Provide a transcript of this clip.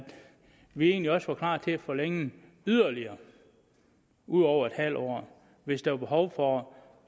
vi egentlig også var klar til at forlænge yderligere ud over en halv år hvis der var behov for